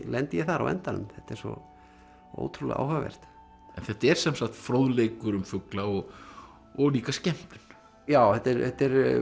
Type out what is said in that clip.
lendi ég þar á endanum þetta er svo ótrúlega áhugavert en þetta er sem sagt fróðleikur um fugla og og líka skemmtun já þetta er þetta er